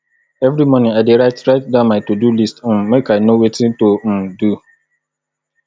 every morning i dey write write down my todo list um make i know wetin to um do